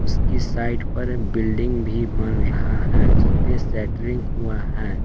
उसकी साइड पर बिल्डिंग भी बन रहा है उस पे सेटरिंग हुआ है।